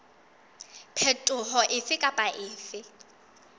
phetoho efe kapa efe e